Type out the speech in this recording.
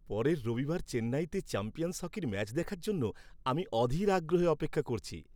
পরের রবিবার চেন্নাইতে চ্যাম্পিয়ন্স হকির ম্যাচ দেখার জন্য আমি অধীর আগ্রহে অপেক্ষা করছি।